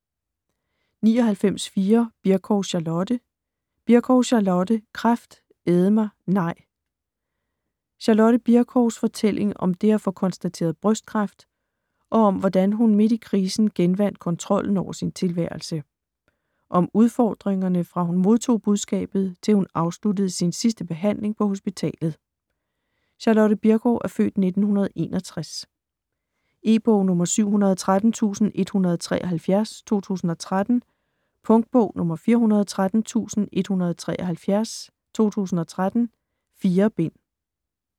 99.4 Bircow, Charlotte Bircow, Charlotte: Kræft æde mig - nej! Charlotte Bircows (f. 1961) fortælling om det at få konstateret brystkræft og om, hvordan hun midt i krisen genvandt kontrollen over sin tilværelse. Om udfordringerne fra hun modtog budskabet, til hun afsluttede sin sidste behandling på hospitalet. E-bog 713173 2013. Punktbog 413173 2013. 4 bind.